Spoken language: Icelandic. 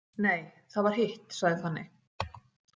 Nei, það var hitt, sagði Fanney.